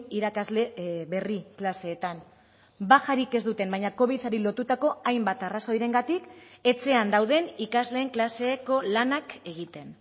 irakasle berri klaseetan bajarik ez duten baina covidari lotutako hainbat arrazoirengatik etxean dauden ikasleen klaseko lanak egiten